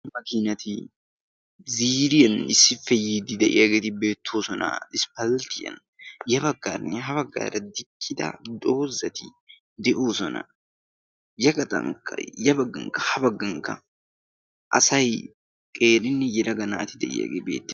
Naa'u makiinati ziiriyan issippe yiiddi de'iyaageeti beettoosona. isppalitiyan ya baggaanne ha baggaara diccida doozati de'oosona. Ya gaxankka ya baggankka ha baggankka asay qeerinne yelaga naati de'iyaagee beettoosona.